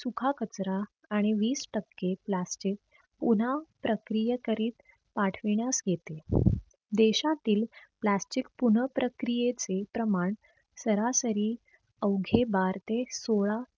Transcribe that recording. सुखा कचरा आणि वीस टक्के plastic पुन्हा प्रक्रिय करीत पाठविण्यास येते. देशातील plastic पुनः प्रक्रियेचे प्रमाण सरासरी अवघे बार ते सोळा